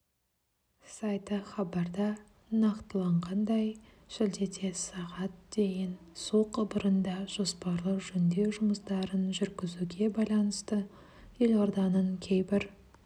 сайты хабарда нақтыланғандай шілдеде сағат дейін су құбырында жоспарлы жөндеу жұмыстарын жүргізуге байланысты елорданың кейбір